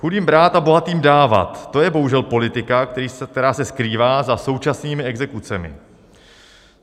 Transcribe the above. Chudým brát a bohatým dávat, to je bohužel politika, která se skrývá za současnými exekucemi.